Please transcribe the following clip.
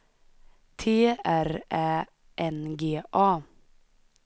T R Ä N G A